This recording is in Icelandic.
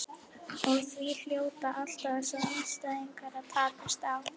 Og því hljóta alltaf þessir andstæðingar að takast á.